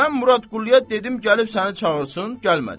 Mən Murad Qulluya dedim gəlib səni çağırsın, gəlmədi.